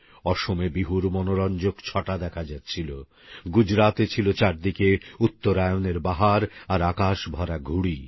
অসমে বিহুর মনোরঞ্জক ছটা দেখা যাচ্ছিল গুজরাতে ছিল চারদিকে উত্তরায়ণের বাহার আর আকাশ ভরা ঘুঁড়ি